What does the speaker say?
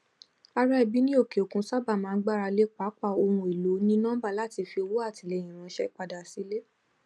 ará ẹbí ní òkè òkun sáábà máa ń gbarale pápá ohun èlò onínọmbà láti fi ọwọ atilẹyin ránṣẹ padà sile